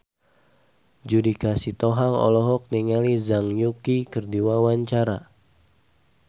Judika Sitohang olohok ningali Zhang Yuqi keur diwawancara